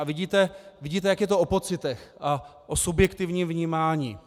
A vidíte, jak je to o pocitech a o subjektivním vnímání.